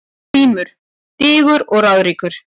GRÍMUR: Digur og ráðríkur